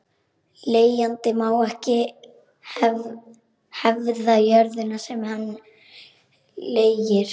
Leigjandi má ekki hefða jörðina sem hann leigir.